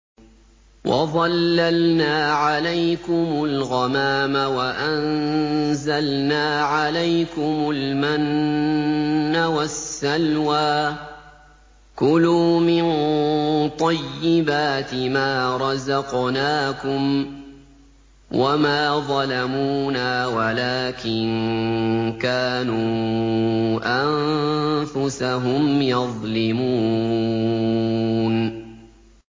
وَظَلَّلْنَا عَلَيْكُمُ الْغَمَامَ وَأَنزَلْنَا عَلَيْكُمُ الْمَنَّ وَالسَّلْوَىٰ ۖ كُلُوا مِن طَيِّبَاتِ مَا رَزَقْنَاكُمْ ۖ وَمَا ظَلَمُونَا وَلَٰكِن كَانُوا أَنفُسَهُمْ يَظْلِمُونَ